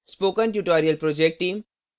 spoken tutorial project team